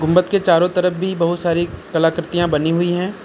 गुंबद के चारों तरफ भी बहुत सारी कला कृतियां बनीं हुई हैं।